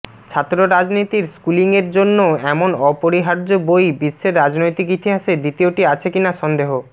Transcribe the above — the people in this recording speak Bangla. ছাত্ররাজনীতির স্কুলিংয়ের জন্য এমন অপরিহার্য বই বিশ্বের রাজনৈতিক ইতিহাসে দ্বিতীয়টি আছে কিনা সন্দেহ